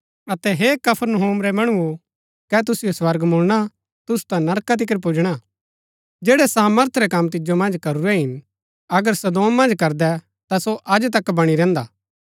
अतै हे कफरनहूम रै मणुओ कै तुसिओ स्वर्ग मुळणा तुसु ता नरका तिकर पुजणा जैड़ै सामर्थ रै कम तिजो मन्ज करूरै हिन अगर सदोम मन्ज करदै ता सो अज तक बणी रैहन्दा